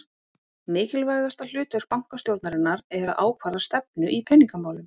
Mikilvægasta hlutverk bankastjórnarinnar er að ákvarða stefnu í peningamálum.